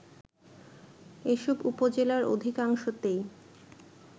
এসব উপজেলার অধিকাংশতেই